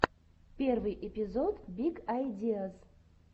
первый эпизод биг айдиаз